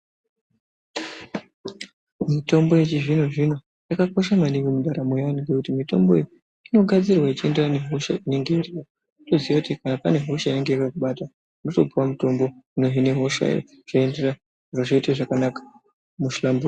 Mitombo yechizvino-zvino yakakosha maningi mundaramo yeantu ngekuti mitombo iyi inogadzirwa ichienderana nehosha inenge irimo. Votoziya kuti kana pane hosha inenge yakakubata vochipuve mutombo unoenderana nehoshayo zviro zvoite zvakanaka vohlamburuka.